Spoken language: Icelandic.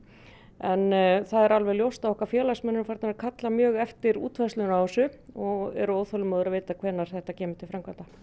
en það er alveg ljóst að okkar félagsmenn eru farnir að kalla mjög eftir útfærslunni á þessu og eru óþolinmóðir að vita hvenær þetta kemur til framkvæmda